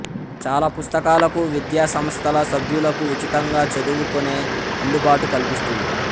చాలా పుస్తకాలకు విద్యాసంస్థల సభ్యులకు ఉచితంగా చదువుకొనే అందుబాటు కల్పిస్తుంది